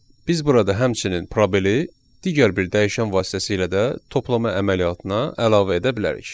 Biz burada həmçinin probeli digər bir dəyişən vasitəsilə də toplama əməliyyatına əlavə edə bilərik.